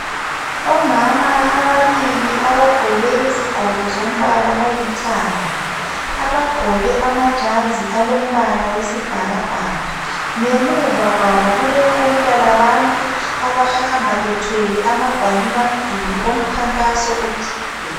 Omama ababili abagqoke izigqoko zombala olithanga abagqoke amajazi alombala wesibhakabhaka ngemuva kwabo kule qula labantu abahamba bethwele amagwalibamduli omkhankaso othile.